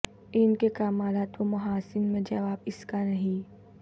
ان کے کمالات و محاسن میں جواب اس کا نہیں